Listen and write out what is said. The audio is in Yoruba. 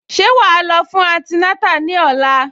Ṣé wàá lọ fún antinátà ní òla?